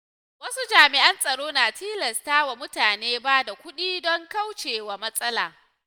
Wasu jami’an tsaro na tilasta wa mutane ba da kudi don kaucewa matsala.